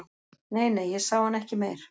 Nei, nei, ég sá hann ekki meir